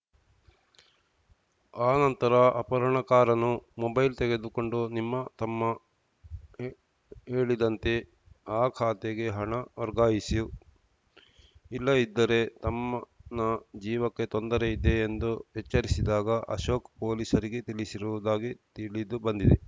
ಆ ನಂತರ ಅಪಹರಣಕಾರನೂ ಮೊಬೈಲ್‌ ತೆಗೆದುಕೊಂಡು ನಿಮ್ಮ ತಮ್ಮ ಹೇಳಿದಂತೆ ಆ ಖಾತೆಗೆ ಹಣ ವರ್ಗಾಯಿಸು ಇಲ್ಲದಿದ್ದರೆ ತಮ್ಮನ ಜೀವಕ್ಕೆ ತೊಂದರೆ ಇದೆ ಎಂದು ಎಚ್ಚರಿಸಿದ್ದಾಗಿ ಅಶೋಕ್‌ ಪೊಲೀಸರಿಗೆ ತಿಳಿಸಿರುವುದಾಗಿ ತಿಳಿದು ಬಂದಿದೆ